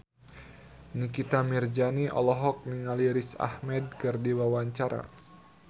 Nikita Mirzani olohok ningali Riz Ahmed keur diwawancara